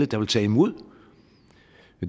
der vil tage imod